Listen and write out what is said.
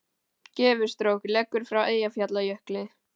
Gufustrók leggur frá Eyjafjallajökli